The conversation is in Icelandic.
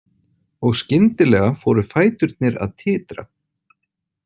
Og skyndilega fóru fæturnir að titra.